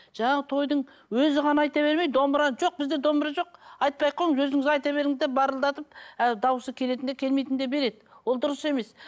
жаңағы тойдың өзі ғана айта бермей домбыра жоқ бізде домбыра жоқ айтпай ақ қойыңыз өзіңіз айта беріңіз деп барылдатып ы дауысы келетін де келмейтін де береді ол дұрыс емес